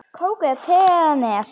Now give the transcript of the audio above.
Kók eða te eða Nes?